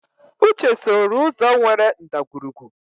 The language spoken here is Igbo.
Uche sooro ụzọ nwere ndagwurugwu.